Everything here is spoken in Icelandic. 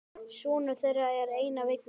Sonur þeirra er Einar Vignir.